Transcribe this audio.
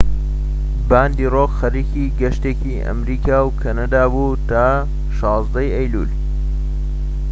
باندی ڕۆک خەریکی گەشتێکی ئەمەریکا و کەنەدا بوو تا 16ی ئەیلوول